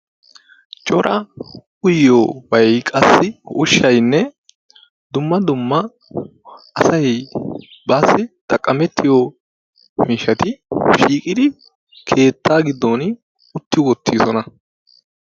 Cora uyiyobay qassi ushshaynne dumma dumma asay baassi xaqqamettiyo miishshati shiiqidi keetta giddon utti uttidoosona.